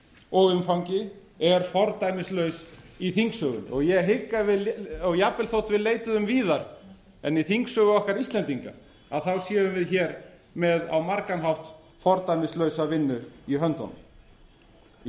og umfangi er fordæmislaus í þingsögunni og ég hygg að jafnvel þótt við leituðum víðar en í þingsögu okkar íslendinga séum við hér með á margan hátt fordæmislausa vinnu í höndunum í